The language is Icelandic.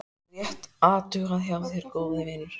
Rétt athugað hjá þér góði vinur.